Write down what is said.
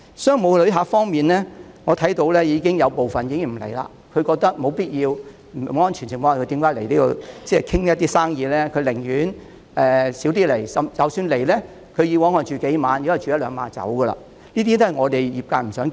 商務旅客方面，我看到有部分旅客已經不來港，他們認為沒有必要在不安全的情況下來港洽談生意，寧願減少來港，而以往來港逗留數天的，現時也只會逗留一兩天。